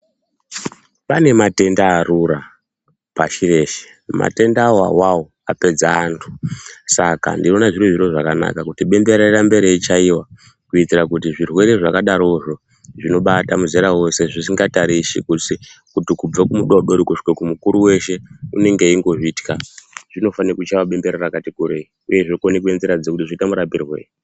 Pane matenda arura pashi reshe. Matendawo awawo apedza antu saka ndinoona zviri zviro zvakanaka kuti bembera rirambe reichaiwa kuitira kuti zvirwere zvakadarozvo zvinobata muzera wose zvisingatarisi kuti kubva kumudodori kusvika kumukuru weshe unenge weizvitya zvinofanira kuchaiwa bembera rakati kurei uye zvinofana kuonekwa kuti zvoitwa marapirwei.